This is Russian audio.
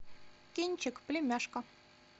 кинчик племяшка